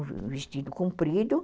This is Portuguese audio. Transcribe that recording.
Um vestido comprido e...